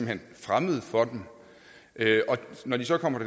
hen fremmed for dem når de så kommer